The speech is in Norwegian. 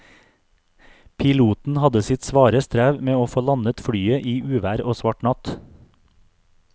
Piloten hadde sitt svare strev med å få landet flyet i uvær og svart natt.